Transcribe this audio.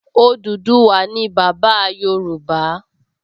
Odùduwà ni bàbá Yorùbá